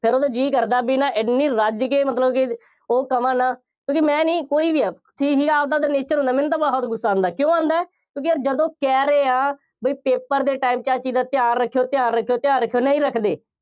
ਫਿਰ ਉਦੋਂ ਜੀਅ ਕਰਦਾ ਬਈ ਨਾ ਐਨੀ ਰੱਜ ਕੇ ਮਤਬਲ ਕਿ ਉਹ ਕਹਵਾਂ ਨਾ, ਕਿਉਂਕਿ ਮੈਂ ਨਹੀਂ ਕੋਈ ਵੀ ਆ, ਠੀਕ ਹੈ ਆਪਦਾ ਆਪਦਾ nature ਹੁੰਦਾ, ਮੈਨੂੰ ਤਾਂ ਬਹੁਤ ਗੁੱਸਾ ਆਉਂਦਾ, ਕਿਉਂ ਆਉਂਦਾ, ਕਿਉਂਕਿ ਯਾਰ ਜਦੋਂ ਕਹਿ ਰਹੇ ਆ, ਬਈ paper ਦੇ time ਚ ਇਸ ਚੀਜ਼ ਦਾ ਧਿਆਨ ਰੱਖਿਓ, ਧਿਆਨ ਰੱਖਿਓ, ਧਿਆਨ ਰੱਖਿਓ, ਨਹੀਂ ਰੱਖਦੇ।